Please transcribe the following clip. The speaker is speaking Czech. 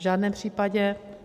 V žádném případě.